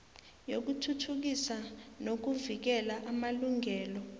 yokuthuthukisa nokuvikela amalungelo